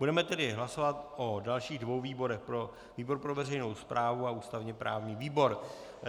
Budeme tedy hlasovat o dalších dvou výborech - výbor pro veřejnou správu a ústavně právní výbor.